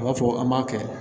U b'a fɔ an b'a kɛ